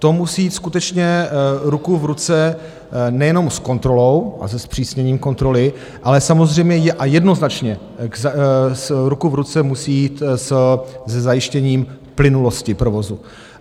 To musí jít skutečně ruku v ruce nejenom s kontrolou a se zpřísněním kontroly, ale samozřejmě a jednoznačně ruku v ruce musí jít se zajištěním plynulosti provozu.